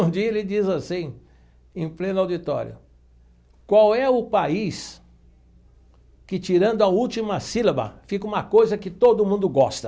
Um dia ele diz assim, em pleno auditório, qual é o país que, tirando a última sílaba, fica uma coisa que todo mundo gosta?